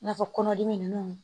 N'a fɔ kɔnɔdimi nunnu